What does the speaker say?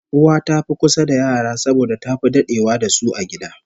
Uwa ta fi kusa da yara saboda tafi dadewa da su a gida